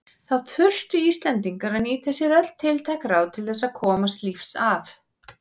Þá þurftu Íslendingar að nýta sér öll tiltæk ráð til þess að komast lífs af.